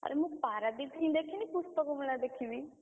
ଆରେ ମୁଁ ପାରାଦ୍ୱୀପ ହିଁ ଦେଖିନି ପୁସ୍ତକ ମେଳା ଦେଖିବି।